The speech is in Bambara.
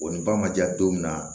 O ni ba ma ja don min na